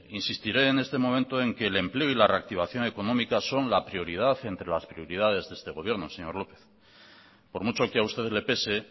insistiré en este momento en que el empleo y la reactivación económica son la prioridad entre las prioridades de este gobierno señor lópez por mucho que a usted le pese